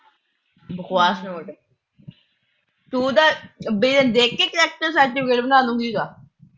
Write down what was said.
ਬਕਵਾਸ ਤੂੰ ਉਹਦਾ ਦੇਖ ਕੇ character certificate ਬਣਾ ਲੂਗੀ ਉਹਦਾ।